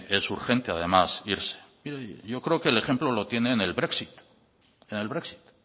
es urgente es además irse mire yo creo que el ejemplo lo tiene en el brexit